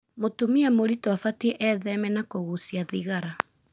Mũtumia mũritũ abatie etheme na kũgucia thigara .